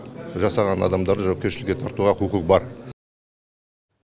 жасаған адамдарды жауапкершілікке тартуға құқық бар